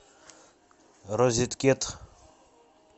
розеткед